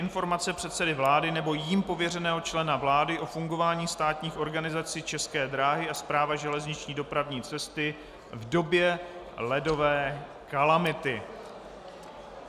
Informace předsedy vlády nebo jím pověřeného člena vlády o fungování státních organizací České dráhy a Správa železniční dopravní cesty v době ledové kalamity.